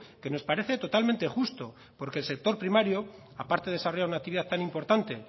que nos parece totalmente justo porque el sector primario aparte de desarrollar una actividad tan importante